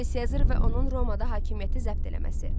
Yuli Sezar və onun Romada hakimiyyəti zəbt eləməsi.